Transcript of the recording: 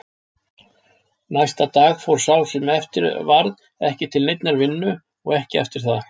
Næsta dag fór sá sem eftir varð ekki til neinnar vinnu og ekki eftir það.